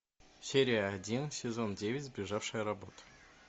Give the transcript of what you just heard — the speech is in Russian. серия один сезон девять сбежавшая работа